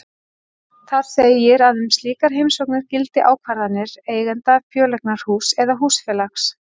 Þar segir að um slíkar heimsóknir gildi ákvarðanir eigenda fjöleignarhúss eða húsfélags.